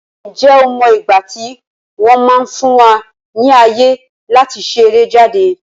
Ǹjẹ́ o mọ igbati wọn máa fún wa ní ayé láti ṣeré jáde?